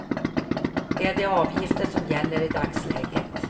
Det är de avgifter som gäller i dagsläget.